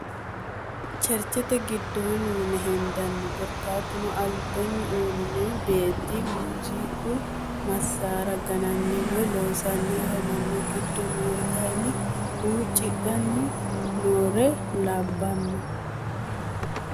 Cherichete gidoonni yine hendanni korikatuno alibanni uirino beeti muuziqu masara gananni woyi loosanni afamanno gido noori kayini huuccidhanni noore labano